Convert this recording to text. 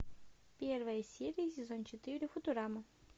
первая серия сезон четыре футурама